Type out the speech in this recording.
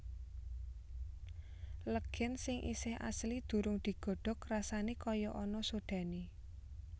Legèn sing isih asli durung digodhog rasané kaya ana sodhané